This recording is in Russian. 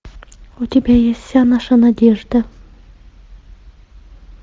у тебя есть вся наша надежда